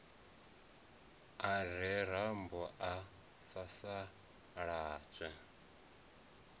a re rambo a sasaladzwa